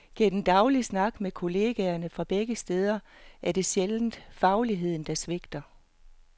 Gennem daglig snak med kolleger fra begge steder er det sjældent fagligheden, der svigter.